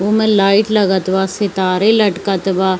उमे लाइट लागत वा सितारे लटकत बा।